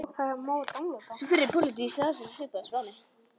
Sú fyrri: pólitískt ástand svipað og á Spáni.